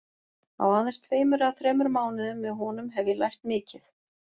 Á aðeins tveimur eða þremur mánuðum með honum hef ég lært mikið.